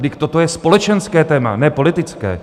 Vždyť toto je společenské téma, ne politické.